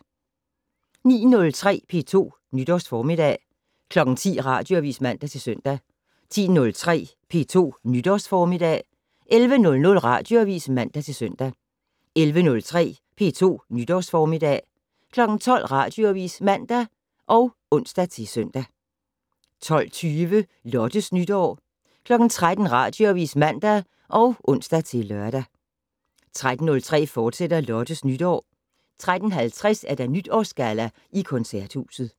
09:03: P2 Nytårsformiddag 10:00: Radioavis (man-søn) 10:03: P2 Nytårsformiddag 11:00: Radioavis (man-søn) 11:03: P2 Nytårsformiddag 12:00: Radioavis (man og ons-søn) 12:20: Lottes Nytår 13:00: Radioavis (man og ons-lør) 13:03: Lottes Nytår, fortsat 13:50: Nytårsgalla i Koncerthuset